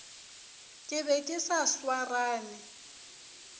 ke be ke sa swarane